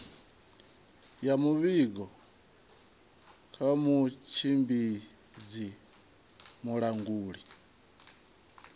ya muvhigo kha mutshimbidzi mulanguli